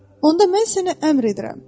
onda mən sənə əmr edirəm.